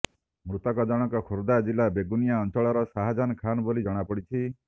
ମୃତକ ଜଣକ ଖୋର୍ଦ୍ଧା ଜିଲ୍ଲା ବେଗୁନିଆ ଅଞ୍ଚଳର ସାହାଜାନ୍ ଖାନ୍ ବୋଲି ଜଣାପଡିଛି